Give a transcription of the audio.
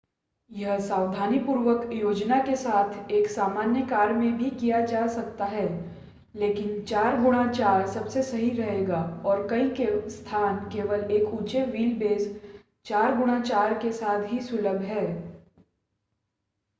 यह सावधानीपूर्वक योजना के साथ एक सामान्य कार में भी किया जा सकता है लेकिन 4x4 सबसे सही रहेगा और कई स्थान केवल एक ऊँचे व्हील-बेस 4x4 के साथ ही सुलभ हैं।